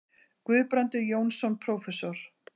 Guðbrandur Jónsson prófessor.